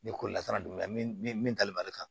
Ni ko latara don min na min ni min tali bali kan